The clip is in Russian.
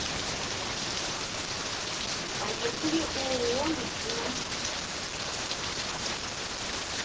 поехали ооо медина